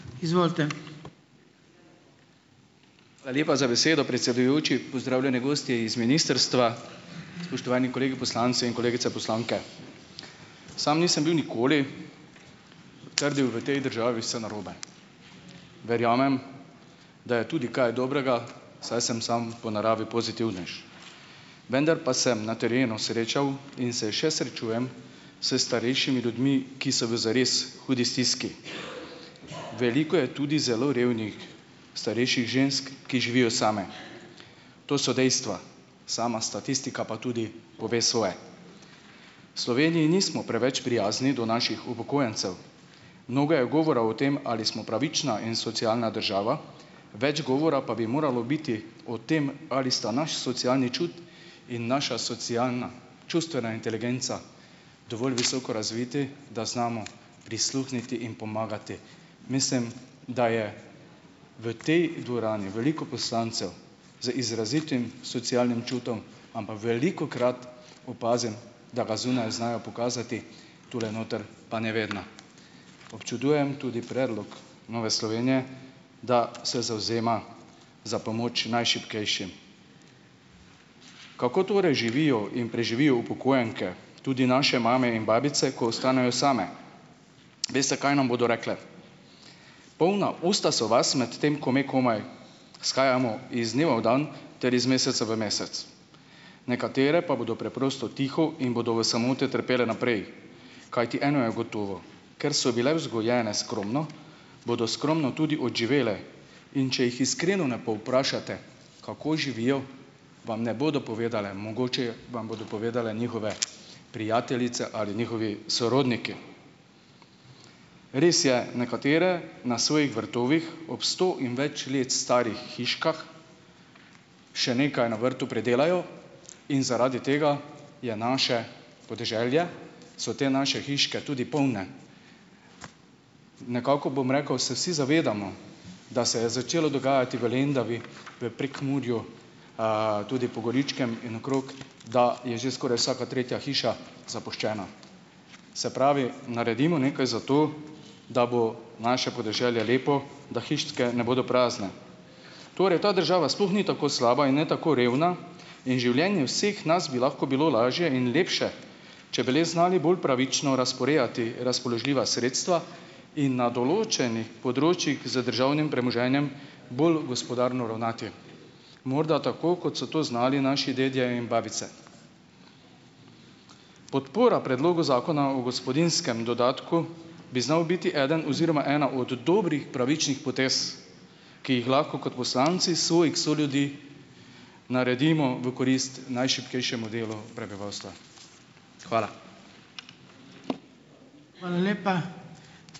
Hvala lepa za besedo, predsedujoči. Pozdravljene gostje iz ministrstva, spoštovani kolegi poslanci in kolegice poslanke. Samo nisem bil nikoli trdil, v tej državi vse narobe. Verjamem, da je tudi kaj dobrega, saj sem samo po naravi pozitivnež, vendar pa sem na terenu srečal in se še srečujem s starejšimi ljudmi, ki so v zares hudi stiski. Veliko je tudi zelo revnih starejših žensk, ki živijo same. To so dejstva. Sama statistika pa tudi pove svoje. V Sloveniji nismo preveč prijazni do naših upokojencev. Mnogo je govora o tem, ali smo pravična in socialna država, več govora pa bi moralo biti o tem, ali sta naš socialni čut in naša socialna čustvena inteligenca dovolj visoko razviti, da znamo prisluhniti in pomagati. Mislim, da je v tej dvorani veliko poslancev z izrazitim socialnim čutom, ampak velikokrat opazim, da ga zunaj znajo pokazati, tule noter pa ne vedno. Občudujem tudi predlog Nove Slovenije, da se zavzema za pomoč najšibkejšim. Kako torej živijo in preživijo upokojenke, tudi naše mame in babice, ko ostanejo same? Veste, kaj nam bodo rekle? Polna usta so vas, medtem ko me komaj shajamo iz dneva v dan ter iz meseca v mesec, nekatere pa bodo preprosto tiho in bodo v samoti trpele naprej, kajti eno je gotovo. Ker so bile vzgojene skromno, bodo skromno tudi odživele. In če jih iskreno ne povprašate, kako živijo, vam ne bodo povedale. Mogoče vam bodo povedale njihove prijateljice ali njihovi sorodniki. Res je, nekatere na svojih vrtovih ob sto in več let starih hiškah še nekaj na vrtu pridelajo in zaradi tega je naše podeželje, so te naše hiške tudi polne. Nekako bom rekel, se vsi zavedamo, da se je začelo dogajati v Lendavi, v Prekmurju, tudi po Goričkem in okrog, da je že skoraj vsaka tretja hiša zapuščena. Se pravi, naredimo nekaj za to, da bo naše podeželje lepo, da hiške ne bodo prazne. Torej ta država sploh ni tako slaba in ne tako revna in življenje vseh nas bi lahko bilo lažje in lepše, če bi le znali bolj pravično razporejati razpoložljiva sredstva in na določenih področjih z državnim premoženjem bolj gospodarno ravnati. Morda tako, kot so to znali naši dedje in babice. Podpora predlogu Zakona o gospodinjskem dodatku bi znala biti eden oziroma ena od dobrih pravičnih potez, ki jih lahko kot poslanci svojih soljudi naredimo v korist najšibkejšemu delu prebivalstva. Hvala.